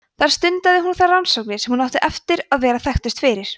þar stundaði hún þær rannsóknir sem hún átti eftir að vera þekktust fyrir